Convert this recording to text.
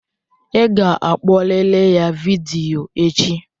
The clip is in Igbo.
Ị ga-akpọrịrị ya vidiyo echi!